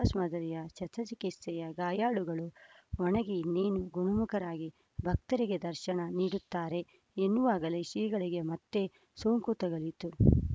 bypass ಮಾದರಿಯ ಶಸ್ತ್ರ ಚಿಕಿತ್ಸೆಯ ಗಾಯಾಳುಗಳು ಒಣಗಿ ಇನ್ನೇನು ಗುಣಮುಖರಾಗಿ ಭಕ್ತರಿಗೆ ದರ್ಶನ ನೀಡುತ್ತಾರೆ ಎನ್ನುವಾಗಲೇ ಶ್ರೀಗಳಿಗೆ ಮತ್ತೆ ಸೋಂಕು ತಗುಲಿತು